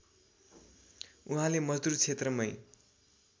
उहाँले मजदूर क्षेत्रमै